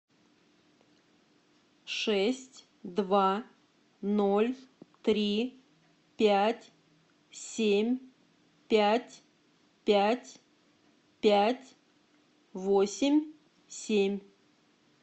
шесть два ноль три пять семь пять пять пять восемь семь